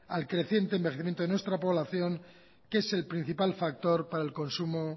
al creciente envejecimiento de nuestra población que es el principal factor para el consumo